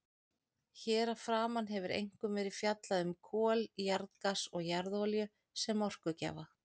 Hér að framan hefur einkum verið fjallað um kol, jarðgas og jarðolíu sem orkugjafa.